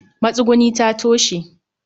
matsuguni ta toshe